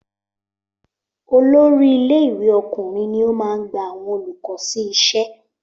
Olórí ilé ìwé ọkùnrin ní o máa ń gba àwọn olùkọ́ sí iṣẹ́